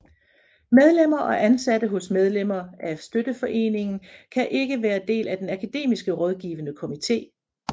Medlemmer og ansatte hos medlemmer af støtteforeningen kan ikke være del af den akademiske rådgivende komite